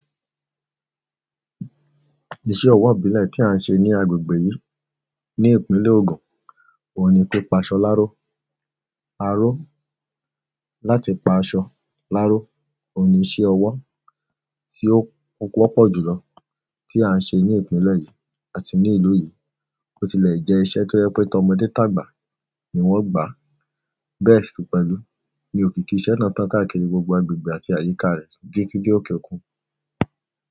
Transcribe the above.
Iṣẹ́ ọwọ́ ìbílẹ̀ tí à ń ṣe ní agbègbè yìí, ní Ìpínlẹ̀ Ògùn, kò ní pé paṣọ láro. Aró láti pa aṣọ láro kò ní ṣe ọwọ́ tí ó wọ́pọ̀ jùlọ tí à ń ṣe ní ìpínlẹ̀ yìí àti ní ìlú yìí. Ó tilẹ̀ jẹ́ iṣẹ́ tó yẹ pé tọmọdé tàgbà ni wọ́n gbà á. Bẹ́ẹ̀ sì pẹ̀lú ní òkìkí iṣẹ́ náà tán káàkiri gbogbo agbègbè àti àyíká rẹ̀ títí dé òkè òkun.